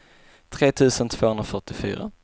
tre tusen tvåhundrafyrtiofyra